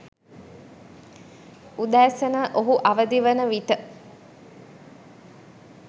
උදැසන ඔහු අවදි වන විට